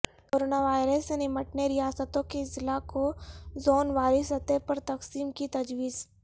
corona virus سے نمٹنے ریاستوں کے اضلاع کو زون واری سطح پر تقسیم کی تجویز